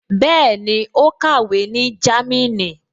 Bẹ́ẹ̀ni, ó kàwé ní Jámínì